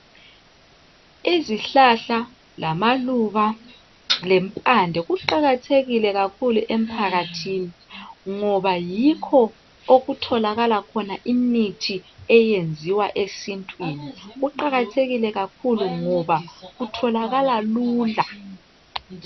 Izihlahla lamaluba lempande kuqakathekile kakhulu emphakathini ngoba yikho okutholakala khona imithi eyenziwa esintwini kuqakathekile kakhulu ngoba kutholakala lula.